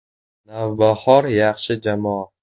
“Navbahor” yaxshi jamoa.